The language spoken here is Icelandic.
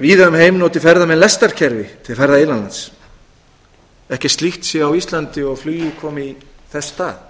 víða um heim noti ferðamenn lestarkerfi til ferða innan lands ekkert slíkt sé á íslandi og flugið komi í þess stað